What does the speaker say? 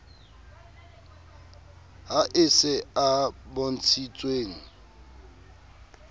ha e se a bontshitsweng